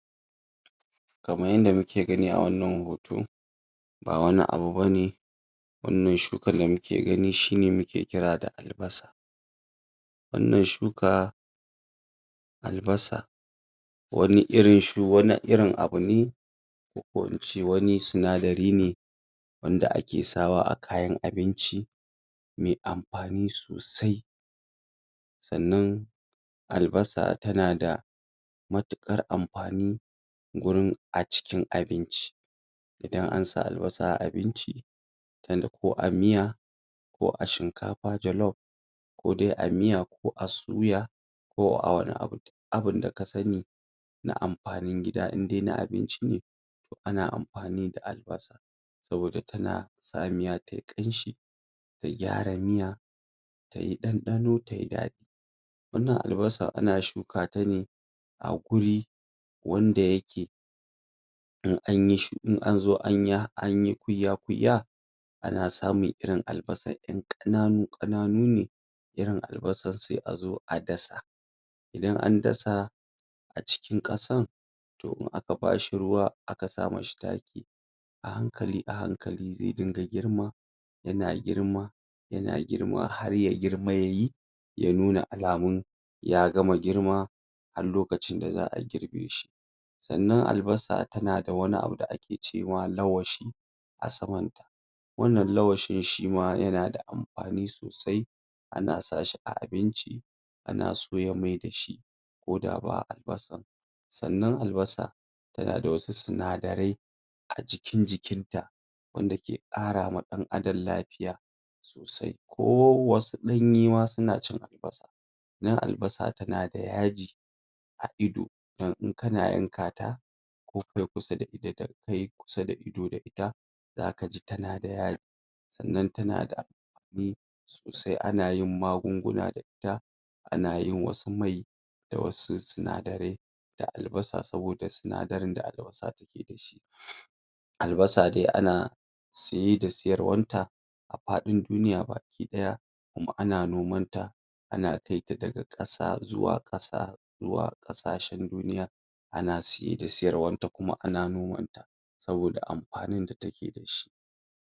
Kaman yanda muke gani a wannan hoto ba wani abu ba ne wannan shukan da muke gani shi ne muke ƙira da albasa wannan shuka albasa wani irin um wani irin abu ne ko ko in ce wani sinadari ne wanda ake sa wa a kayan abinci me amfani sosai sannan albasa tana da matuƙar amfani gurin a cikin abinci idan an sa albasa a abinci yanda ko a miya ko a shinkafa jalof ko de a miya ko a suya ko a wani abu duk abin da ka sani na amfanin gida inde na abinci ne to ana amfani da albasa saboda tana sa miya ta yi ƙanshi ta gyara miya ta yi ɗanɗano ta yi daɗi wannan al basa ana shuka ta ne a guri wanda yake an yi shu in an zo anyi kuiya-kuiya ana samun irin albasar ƴan ƙananu-ƙananu ne irin albasas se a zo a dasa idan an dasa a cikin ƙasan to in aka ba shi ruwa aka sa mi shi taki a hankali a hankali ze dinga girma yana girma yana girma har ya girma ya yi ya nuna alamun ya gama girma har lokacin da za a girbe shi sannan albasa tana da wani abu da ake ce ma lawashi a samanta wannan lawashin shi ma yana da amfani sosai ana sa shi a abinci ana soya mai da shi ko da ba albasa sannan albasa tana da wasu sinadarai a jikin jikinta wanda ke ƙarama ɗan Adam lafiya sosai ko wasu ɗanye ma suna cin albasa dan albasa tana da yaji a ido don in kana yanka ta ko ka yi kusa da ido da ita zaka ji tana da ya... sannan tana da? sosai ana yin magunguna da ita ana yin wasu mai da wasu sinadarai da albasa saboda sinadarin da albasa take da shi um albasa de ana siye sa siyarwan ta a faɗin duniya baki-ɗaya kuma ana noman ta ana kai ta daga ƙasa zuwa ƙasa zuwa ƙasashen duniya ana siye da siyarwan ta kuma ana noman ta